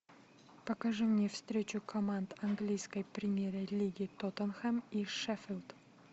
покажи мне встречу команд английской премьер лиги тоттенхэм и шеффилд